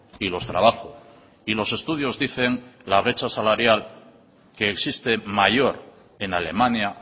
y los trabajo y los estudios dicen la brecha salarial que existe mayor en alemania